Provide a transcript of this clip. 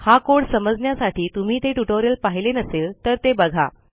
हा कोड समजण्यासाठी तुम्ही ते ट्युटोरियल पाहिले नसेल तर ते बघा